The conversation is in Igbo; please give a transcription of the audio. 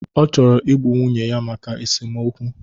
Ọ chọrọ igbu nwunye ya maka esomokwu.